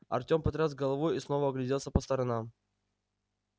артем потряс головой и снова огляделся по сторонам